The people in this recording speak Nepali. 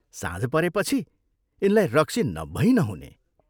साँझ परेपछि यिनलाई रक्सी नभै नहुने।